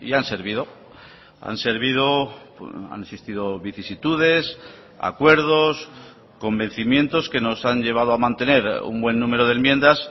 han servido han servido han existido vicisitudes acuerdos convencimientos que nos han llevado a mantener un buen número de enmiendas